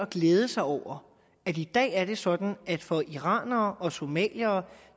glæde sig over at i dag er det sådan at det for iranere og somaliere